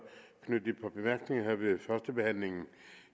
knytte et par bemærkninger her ved førstebehandlingen